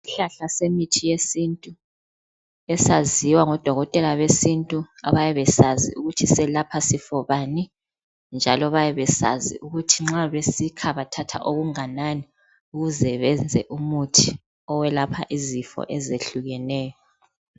Isihlahla semithi yesintu esaziwa ngodokotela besintu abayabe besazi ukuthi selapha sifo bani, njalo bayabe besazi ukuthi nxa besikha, bathatha okunganani ukuze benze umuthi owelapha izifo ezehlukeneyo.